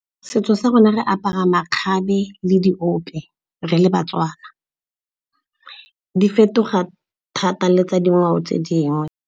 Setso sa rona re apara makgabe le diope re le baTswana. Di fetoga thata le tsa dingwao tse dingwe.